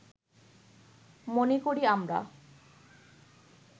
মনে করি আমরা